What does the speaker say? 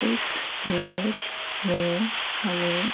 इस इमेज में हमें--